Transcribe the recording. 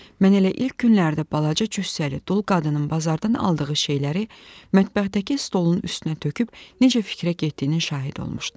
Mən elə ilk günlərdə balaca cüssəli dul qadının bazardan aldığı şeyləri mətbəxdəki stolun üstünə töküb necə fikrə getdiyinin şahidi olmuşdum.